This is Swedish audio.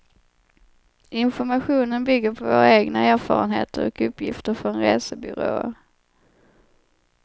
Informationen bygger på våra egna erfarenheter och uppgifter från resebyråer.